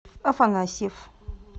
афанасьев